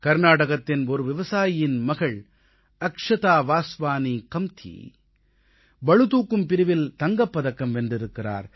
கர்நாடகத்தின் ஒரு விவசாயியின் மகள் அக்ஷதா வாஸ்வானீ கம்தீ பளுதூக்கும் பிரிவில் தங்கப் பதக்கம் வென்றிருக்கிறார்